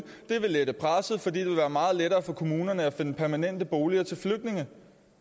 det vil lette presset fordi det vil være meget lettere for kommunerne at finde permanente boliger til flygtninge